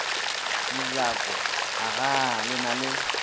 mojako agaa le na le